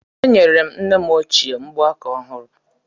Enyere m nne m ochie mgbaaka ọhụrụ